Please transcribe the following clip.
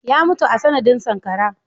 Ya mutu a sanadin sankara.